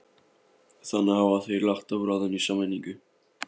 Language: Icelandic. Þannig hafa þeir lagt á ráðin í sameiningu